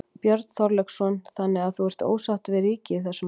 Björn Þorláksson: Þannig að þú ert ósáttur við ríkið í þessum efnum?